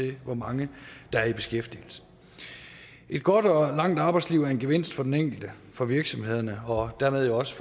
i hvor mange der er i beskæftigelse et godt og langt arbejdsliv er en gevinst for den enkelte for virksomhederne og dermed jo også